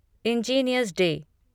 engineers day